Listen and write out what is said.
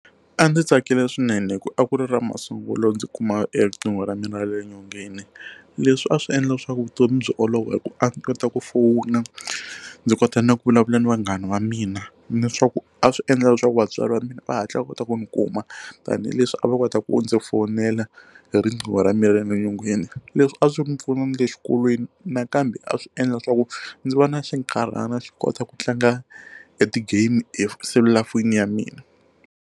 A ndzi tsakile swinene hi ku a ku ri ra masungulo ndzi kuma eka riqingho ra mina ra le nyongeni leswi a swi endla leswaku vutomi byi olova hi ku a kota ku fowuna ndzi kota ni ku vulavula ni vanghana va mina ni swa ku a swi endla leswaku vatswari va mina va hatla va kota ku ndzi kuma tanihileswi a va kota ku ndzi fonela hi riqingho ra mani rale nyongeni leswi a swi ndzi pfuna na le xikolweni nakambe a swi endla leswaku ndzi vana xinkarhana xo kota ku tlanga e ti game hi selulafoni ya mina.